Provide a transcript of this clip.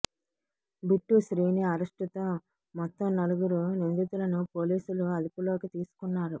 bit Srini arrest తో మొత్తం నలుగురు నిందితులను పోలీసులు అదుపులోకి తీసుకున్నారు